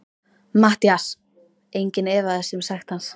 MATTHÍAS: Enginn efaðist um sekt hans.